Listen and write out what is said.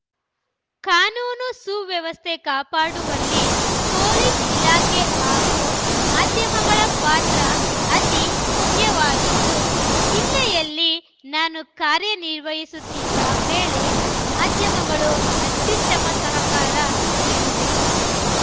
ಕಾನೂನು ಸುವ್ಯವಸ್ಥೆ ಕಾಪಾಡುವಲ್ಲಿ ಪೊಲೀಸ್‌ ಇಲಾಖೆ ಹಾಗೂ ಮಾಧ್ಯಮಗಳ ಪಾತ್ರ ಅತಿ ಮುಖ್ಯವಾಗಿದ್ದು ಜಿಲ್ಲೆಯಲ್ಲಿ ನಾನು ಕಾರ್ಯ ನಿರ್ವಹಿಸುತ್ತಿದ್ದ ವೇಳೆ ಮಾಧ್ಯಮಗಳು ಅತ್ಯುತ್ತಮ ಸಹಕಾರ ನೀಡಿವೆ